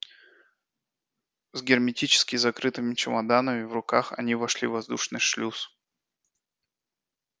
с герметически закрытыми чемоданами в руках они вошли в воздушный шлюз